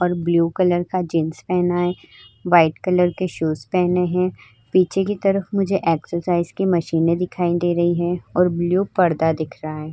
और blue colour का jeans पहना है। व्हाइट कलर के शूज पहने है। पीछे के तरफ मुझे एक्सरसाइज की मशीनें दिखाई दे रही हैं और ब्लू पर्दा दिख रहा है।